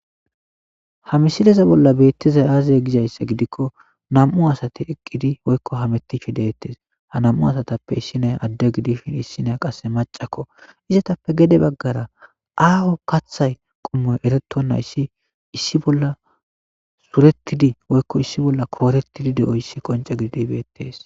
ha misileze bolla beettizay aazal gizayssa gidikko nam'u asate eqqidi woykko hametticho deettes ha nam'u asatappe issinay adde gidishin issina qasse macakko izetappe gede baggara aaho kathay qommoy erettonna issi issi bolla suretidi woykko issi bolla kooretidi de'oyssi qonce gididi beettees